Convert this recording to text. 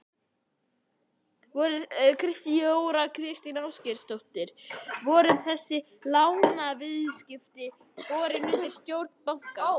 Þóra Kristín Ásgeirsdóttir: Voru þessi lánaviðskipti borin undir stjórn bankans?